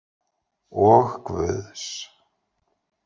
Og Guðs.